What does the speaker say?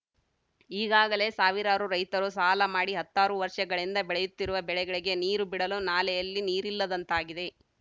ಈಗಾಗಲೇ ಸಾವಿರಾರು ರೈತರು ಸಾಲ ಮಾಡಿ ಹತ್ತಾರು ವರ್ಷಗಳಿಂದ ಬೆಳೆಯುತ್ತಿರುವ ಬೆಳೆಗಳಿಗೆ ನೀರು ಬಿಡಲು ನಾಲೆಯಲ್ಲಿ ನೀರಿಲ್ಲದಂತಾಗಿದೆ